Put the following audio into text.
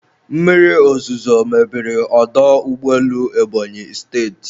Mmiri ozuzo mebiri ọdọ ụgbọelu Ebonyi State